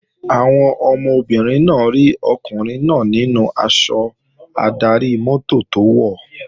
Àwọn ọmọbìnrin náà rí ọkùnrin náà nínú aṣọ adarí-mọ́tò tó wọ̀